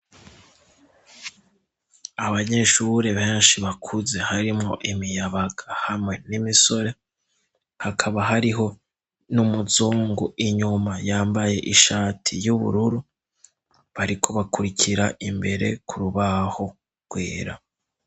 Abanyeshure benshi bakuze harimwo imiyabaga hamwe n'imisore hakaba hariho n'umuzungu inyuma yambaye ishati y'ubururu bariko bakurikira imbere ku rubaho rwera.